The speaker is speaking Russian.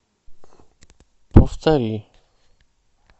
повтори